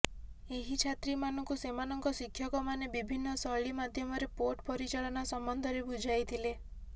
ଏହି ଛାତ୍ରୀମାନଙ୍କୁ ସେମାନଙ୍କ ଶିକ୍ଷକମାନେ ବିଭିନ୍ନ ଶୈଳୀ ମାଧ୍ୟମରେ ପୋର୍ଟ ପରିଚାଳନା ସମ୍ବନ୍ଧରେ ବୁଝାଇଥିଲେ